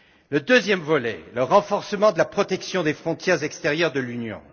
Le deuxième volet, c'est celui du renforcement de la protection des frontières extérieures de l'Union.